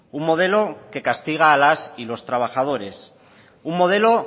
un modelo que castiga a las y los trabajadores un modelo